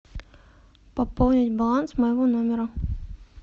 пополнить баланс моего номера